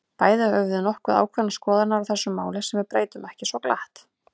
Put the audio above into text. Bæði höfum við nokkuð ákveðnar skoðanir á þessu máli, sem við breytum ekki svo glatt.